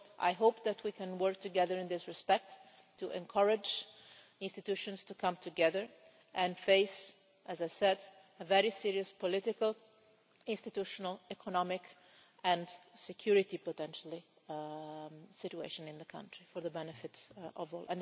I hope that we can work together in this respect to encourage institutions to come together and face what is a very serious political, institutional, economic and, potentially, security situation in the country for the benefit of all.